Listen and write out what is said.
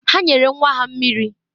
Ha nyere nwa ha mmiri.